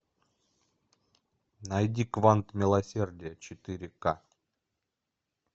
найди квант милосердия четыре ка